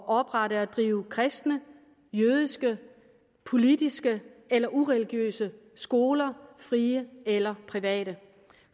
oprette og drive kristne jødiske politiske eller ureligiøse skoler frie eller private